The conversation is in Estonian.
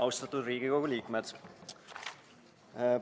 Austatud Riigikogu liikmed!